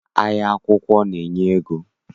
Ahịa akwụkwọ na- enye ego.